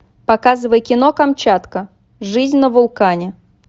показывай кино камчатка жизнь на вулкане